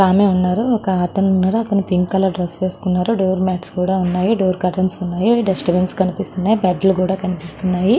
ఒక ఆమె ఉన్నారు ఒకతను పింక్ కలర్ డ్రెస్ వేసుకున్నారు డోర్ మేట్స్ కూడా ఉన్నాయి డోర్ కర్టెన్స్ ఉన్నాయి డస్ట్ బిన్ కనిపిస్తుంది.